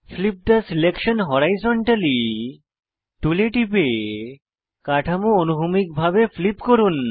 flip the selection horizontally টুলে টিপে কাঠামো অনুভূমিকভাবে ফ্লিপ করুন